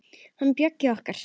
Hann Bjöggi okkar.